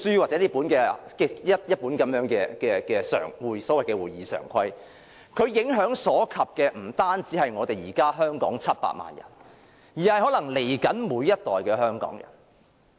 這本小冊子、這本所謂會議常規，影響所及的不止是現時700萬名香港人，可能是日後每一代香港人。